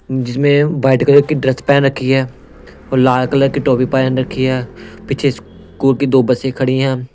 जिसमें white colour की dress पहन रखी है और लाल कलर की टॉपी पहन रखी है पीछे स्कूल की दो बसे खड़ी हैं।